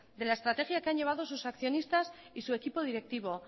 de la estrategia que han llevado sus accionistas y su equipo directivo